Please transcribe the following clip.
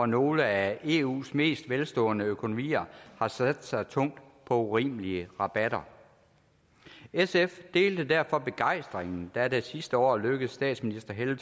nogle af eus mest velstående økonomier har sat sig tungt på urimelige rabatter sf delte derfor begejstringen da det sidste år lykkedes statsministeren